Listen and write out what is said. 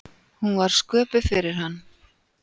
Hún var sköpuð fyrir hann.